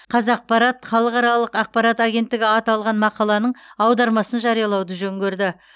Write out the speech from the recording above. қазақпарат халықаралық ақпарат агенттігі аталған мақаланың аудармасын жариялауды жөн көрді